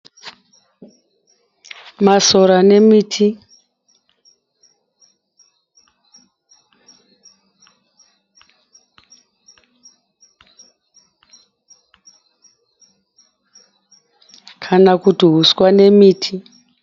Masora nemiti kana kuti huswa nemiti.